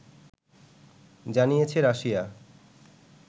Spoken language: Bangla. জানিয়েছে রাশিয়া